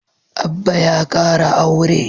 Abba ya kara aure